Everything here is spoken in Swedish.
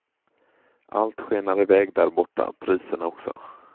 Allt skenar iväg där borta, priserna också.